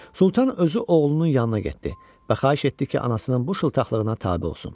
Sultan özü oğlunun yanına getdi və xahiş etdi ki, anasının bu şıltaqlığına tabe olsun.